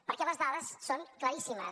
perquè les dades són claríssimes